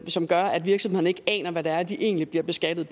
som gør at virksomhederne ikke aner hvad det er de egentlig bliver beskattet